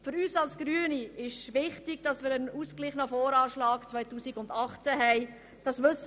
Für uns seitens der Grünen ist es wichtig, einen ausgeglichenen VA 2018 zu haben.